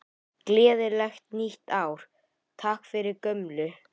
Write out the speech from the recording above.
Gleðilegt nýtt ár- Takk fyrir gömlu!